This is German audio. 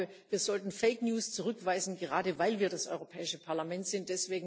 Ich glaube, wir sollten fake news zurückweisen, gerade weil wir das Europäische Parlament sind.